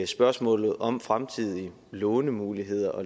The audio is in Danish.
spørgsmålet om fremtidige lånemuligheder og